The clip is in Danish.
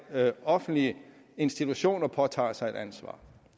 offentlige institutioner påtager sig et ansvar